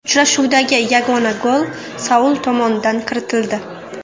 Uchrashuvdagi yagona gol Saul tomonidan kiritildi.